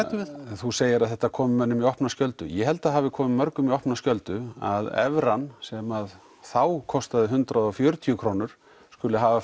þú segir að þetta komi mönnum í opna skjöldu ég held að það hafi komið mörgum í opna skjöldu að evran sem þá kostaði hundrað og fjörutíu krónur skuli hafa